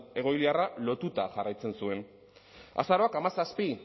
egoiliarra lotuta jarraitzen zuen azaroak hamazazpi